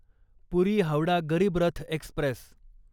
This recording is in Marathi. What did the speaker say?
पुरी हावडा गरीब रथ एक्स्प्रेस